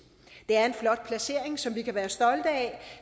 det er en flot placering som vi kan være stolte af